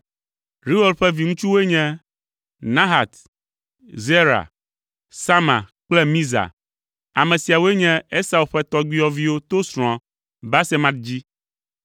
Reuel ƒe viŋutsuwoe nye: Nahat, Zera, Sama kple Miza. Ame siawoe nye Esau ƒe tɔgbuiyɔviwo to srɔ̃a Basemat dzi.